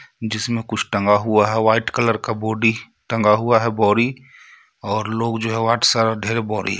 जिसमे कुछ टंगा हुआ हे वाइट कलर का बॉडी टंगा हुआ हे बोरी और लोग जो हे बोरी--